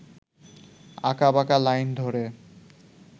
আঁকাবাঁকা লাইন ধরে